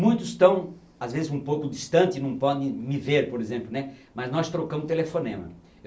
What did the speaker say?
Muitos estão, às vezes, um pouco distante, não podem me ver, por exemplo, né, mas nós trocamos telefonema.